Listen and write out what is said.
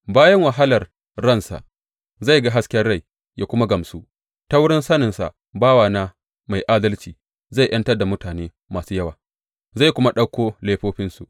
Bayan wahalar ransa, zai ga hasken rai, ya kuma gamsu; ta wurin saninsa bawana mai adalci zai ’yantar da mutane masu yawa, zai kuma ɗauki laifofinsu.